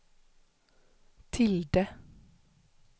tilde